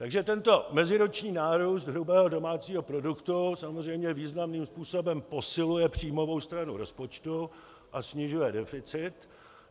Takže tento meziroční nárůst hrubého domácího produktu samozřejmě významným způsobem posiluje příjmovou stranu rozpočtu a snižuje deficit.